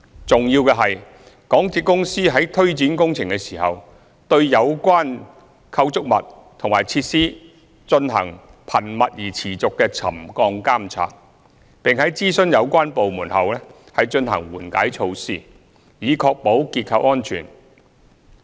重要的是，港鐵公司在推展工程時，對有關構築物和設施進行頻密而持續的沉降監察，並在諮詢有關部門後，進行緩解措施，以確保結構安全。